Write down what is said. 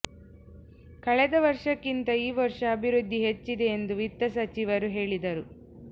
ಕಳೆದ ವರ್ಷಕ್ಕಿಂತ ಈ ವರ್ಷ ಅಭಿವೃದ್ಧಿ ಹೆಚ್ಚಿದೆ ಎಂದು ವಿತ್ತಸಚಿವರು ಹೇಳಿದರು